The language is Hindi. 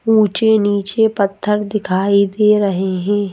ऊंचे नीचे पत्थर दिखाई दे रहे हैं।